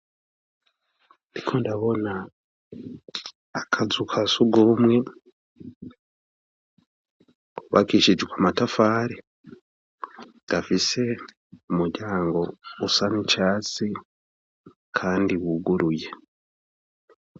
Ndiko ndabona akazu ka sugumwe kubakishijwe amatafari, gafise umuryango usa n'icatsi kandi buguruye.